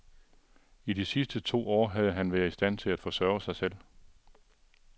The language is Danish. I de sidste to år havde han været i stand til at forsørge sig selv.